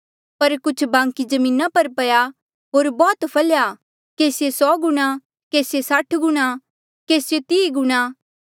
पर कुछ बांकी जमीना पर पया होर बौह्त फलेया केसिए सौ गुणा केसिए साठ गुणा केसिए तीह गुणा